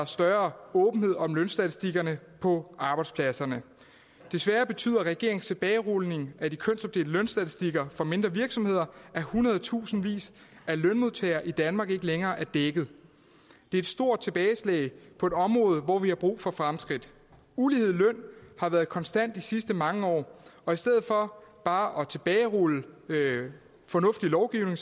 større åbenhed om lønstatistikkerne på arbejdspladserne desværre betyder regeringens tilbagerulning af de kønsopdelte lønstatistikker for mindre virksomheder at hundredetusindvis af lønmodtagere i danmark ikke længere er dækket det er et stort tilbageslag på et område hvor vi har brug for fremskridt ulighed i lønnen har været konstant de sidste mange år og i stedet for bare at tilbagerulle fornuftig lovgivning